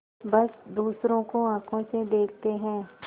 बस दूसरों को आँखों से देखते हैं